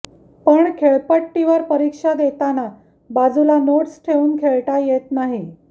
पण खेळपट्टीवर परीक्षा देताना बाजूला नोटस् ठेवून खेळता येत नाही